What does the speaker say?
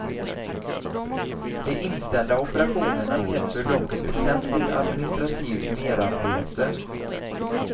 De inställda operationerna medför dock ett väsentligt administrativt merarbete.